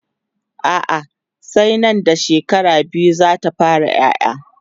a'a sai Nan da shekara biyu zata fara ƴaƴa